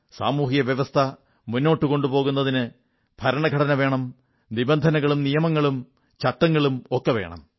സാമൂഹ്യ വ്യവസ്ഥ മുന്നോട്ടു കൊണ്ടുപോകുന്നതിന് ഭരണഘടനയും വേണം നിബന്ധനകളും നിയമങ്ങളും ചട്ടങ്ങളുമൊക്കെ വേണം